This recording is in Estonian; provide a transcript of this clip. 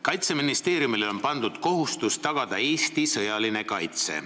Kaitseministeeriumile on pandud kohustus tagada Eesti sõjaline kaitse.